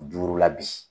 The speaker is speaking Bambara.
Duuru la bi